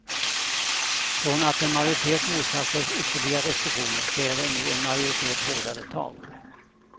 Från att en majoritet motsatt sig ytterligare restriktioner kräver nu en majoritet hårdare tag.